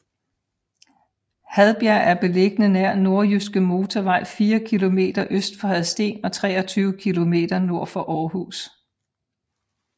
Hadbjerg er beliggende nær Nordjyske Motorvej fire kilometer øst for Hadsten og 23 kilometer nord for Aarhus